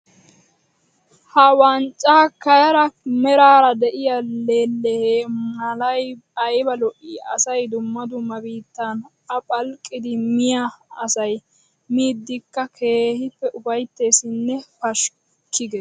Ha wanccakare meraara de'iya leelehe Malay ayba lo'ii! Asay dumma dumma biittaan a phalqqidi Miya asay miidikka keehippe ufaytteessinne pashikki gees.